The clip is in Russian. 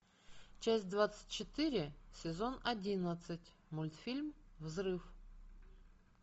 часть двадцать четыре сезон одиннадцать мультфильм взрыв